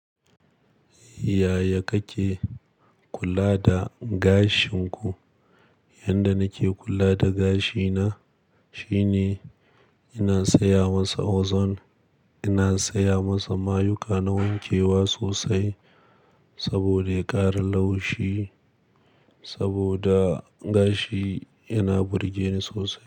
Yaya kake kula da gashin ku? Yanda nake kula da gashina shine ina saya masa ozone, ina saya masa mayuka na wankewa sosai saboda ya ƙara laushi saboda gashi yana burgeni sosai.